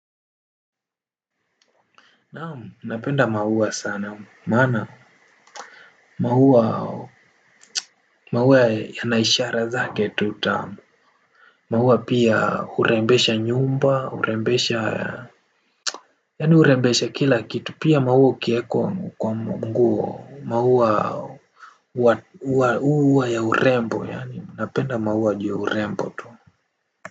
Naamu, napenda mauwa sana, maana, mauwa, mauwa ya naishara zake tuta, mauwa pia urembesha nyumba, urembesha, yani urembesha kila kitu, pia mauwa kieko kwa mguo, mauwa uwa uwa ya urembo, yani, napenda mauwa juu urembo tu.